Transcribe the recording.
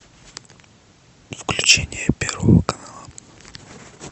включение первого канала